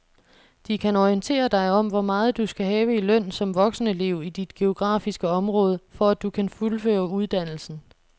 De kan orientere dig om hvor meget du skal have i løn som voksenelev i dit geografiske område, for at du kan fuldføre uddannelsen.